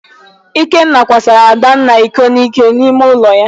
Ikenna kwasara Adanna iko n'ike n'ime ụlọ.